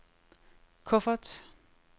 kuffert